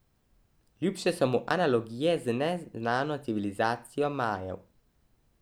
Ljubše so mu analogije z neznano civilizacijo Majev.